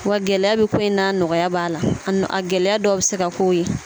Wa gɛlɛya bɛ ko i n'a nɔgɔya b'a la gɛlɛya dɔw bɛ se ka k'o ye